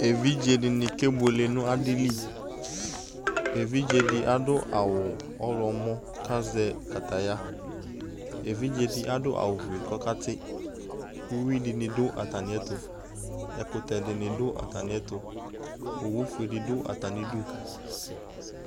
ɛvidzɛ dini kɛ bʋɛlɛ nʋ adili, ɛvidzɛ di adʋawʋ ɔwlɔmɔ kʋ azɛ kataya, ɛvidzɛ di adʋ awʋ ƒʋɛ kʋ ɔkati, ʋwi dini dʋ atani ɛtʋ, ɛkʋtɛ dini dʋ atani ɛtʋ, ɔwʋ ƒʋɛ nidʋ atani idʋ